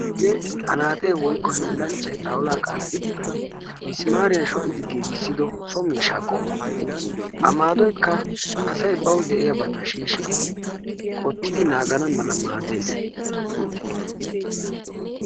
Hagee anaaxee woykko hiilanchchay xawulla qanxiddi misimariyan shociddi giigisido so miishsha qommo a maadoyikka asay bawu diyabba shiishidi qottidi naagana mala maadees.